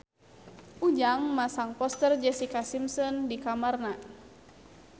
Ujang masang poster Jessica Simpson di kamarna